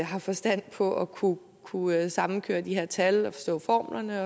har forstand på at kunne kunne sammenkøre de her tal og forstå formlerne